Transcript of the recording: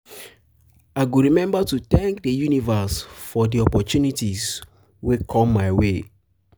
i go remember to thank the universe for the um opportunities wey come my way.